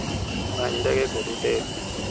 Many ndege kod otel.